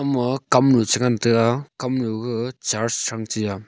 ama kamnu chengan taiga kamnu ga church shangchia.